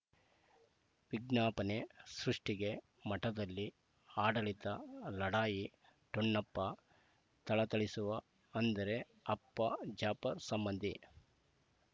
ವಿಜ್ಞಾಪನೆ ಸೃಷ್ಟಿಗೆ ಮಠದಲ್ಲಿ ಆಡಳಿತ ಲಢಾಯಿ ಠೊಣ್ಣಪ್ಪ ಥಳಥಳಿಸುವ ಅಂದರೆ ಅಪ್ಪ ಜಾಫರ್ ಸಂಬಂಧಿ